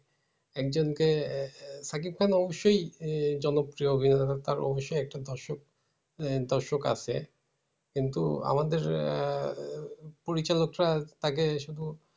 একজনকে এ সাকিব খান অবশ্যই জনপ্রিয় অভিনেতা। তার অবশ্যই তার একটা দর্শক আহ দর্শক আছে। কিন্তু আমাদের আহ পরিচালকটা তাকে শুধু